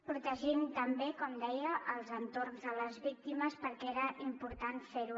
protegim també com deia els entorns de les víctimes perquè era important fer ho